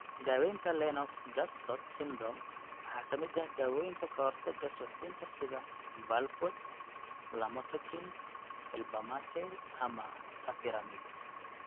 Daawaynta Lennox Gastaut syndrome waxaa ka mid ah dawooyinka ka hortagga suuxdinta sida valproate, lamotrigine, felbamate, ama topiramate.